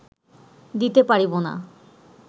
দিতে পারিব না